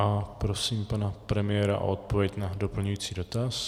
A prosím paní premiéra o odpověď na doplňující dotaz.